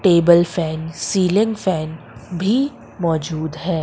Table fan ceiling fan भी मौजूद है।